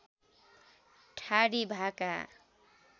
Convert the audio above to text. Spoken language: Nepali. ठाडी भाका